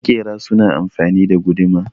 makera suna amfani da guduma